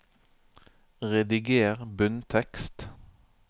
Rediger bunntekst